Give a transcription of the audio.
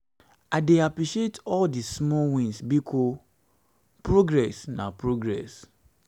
i dey appreciate all di small wins bikos progress na progress